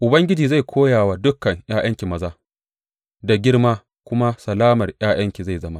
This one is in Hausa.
Ubangiji zai koya wa dukan ’ya’yanki maza, da girma kuma salamar ’ya’yanki zai zama.